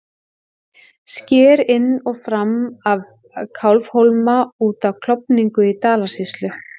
Sker inn og fram af Kálfhólma út af Klofningi í Dalasýslu.